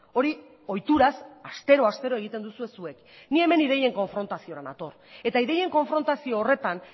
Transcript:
hori ohituraz astero astero egiten duzue zuek ni hemen ideien konfrontaziora nator eta ideien konfrontazio horretan